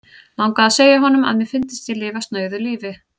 Langaði að segja honum, að mér fyndist ég lifa snauðu lífi.